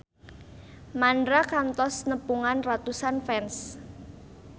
Mandra kantos nepungan ratusan fans